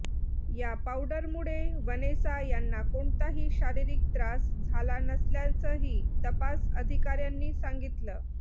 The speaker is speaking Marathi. या पावडरमुळे वनेसा यांना कोणताही शारीरिक त्रास झाला नसल्याचंही तपास अधिकाऱ्यांनी सांगितलं